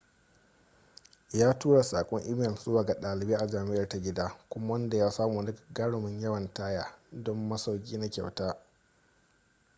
ya turo saƙon imel zuwa ga ɗalibai a jam'iar ta gida kuma ya samu wani gagarumin yawan taya don masauki na kyauta